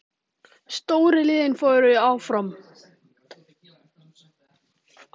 Stóru liðin fóru áfram